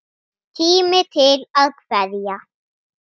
Tími til að kveðja.